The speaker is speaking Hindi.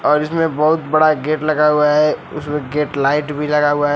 और इसमें बहुत बड़ा गेट लगा हुआ है उसमें गेट लाइट भी लगा हुआ है।